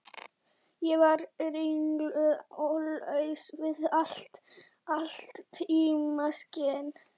Ég var ringluð og laus við allt tímaskyn.